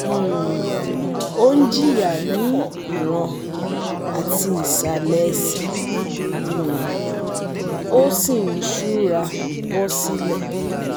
um Ó ń jìya ní ìràn àti ìsàlẹ̀ ẹsẹ̀, um ó um sì ń ṣúra bọ́ silẹ̀